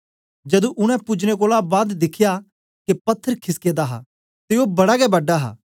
जदू उनै पूजनें कोलां बाद दिखया के पत्थर खिसके दा हा ते ओ बड़ा गै बड़ा हा